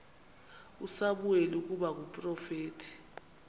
usamuweli ukuba ngumprofeti